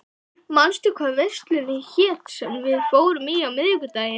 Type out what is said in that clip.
Kiddý, manstu hvað verslunin hét sem við fórum í á miðvikudaginn?